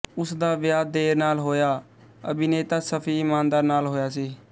ਉਸ ਦਾ ਵਿਆਹ ਦੇਰ ਨਾਲ ਹੋਇਆ ਅਭਿਨੇਤਾ ਸ਼ਫੀ ਇਨਾਮਦਾਰ ਨਾਲ ਹੋਇਆ ਸੀ